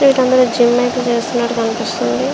ఇక్కడ అందరూ జిమ్ అయితే చేస్తున్నట్టుగా కనిపిస్తున్నారా.